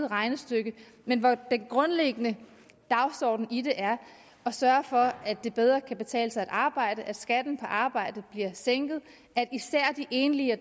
regnestykke men den grundlæggende dagsorden i det er at sørge for at det bedre kan betale sig at arbejde at skatten på arbejde bliver sænket og at især de enlige og